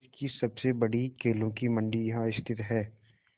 देश की सबसे बड़ी केलों की मंडी यहाँ स्थित है